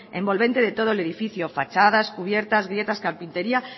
envolvente de todo el edificio fachadas cubiertas grietas carpintería